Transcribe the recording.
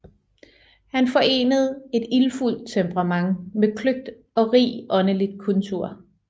Han forenede et ildfuldt temperament med kløgt og rig åndelig kultur